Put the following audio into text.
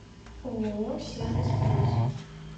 ооо сервис плюс